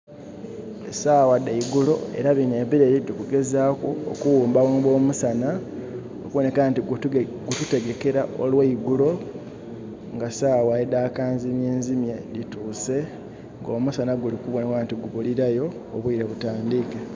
Esaagha dha igulo, era bino ebireri tukugezaku okughumbaghumba omusana okubonheka nti gututegekera oweigulo nga saawa edha kanzimyenzimye dhituse nga omusanha guli kubonebwa nti gubulirayo obwile butandhike